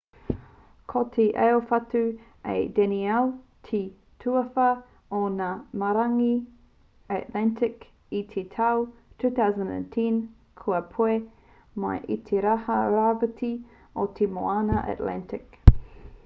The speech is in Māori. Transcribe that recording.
ko te aowhatu a danielle te tuawhā o ngā marangai atlantic i te tau 2010 kua puea mai i te taha rāwhiti o te moana atlantic